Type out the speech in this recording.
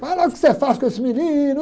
Olha o que você faz com esse menino.